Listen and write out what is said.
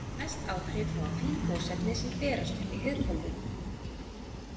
Mest áhrif hafa fín gosefni sem berast upp í heiðhvolfið.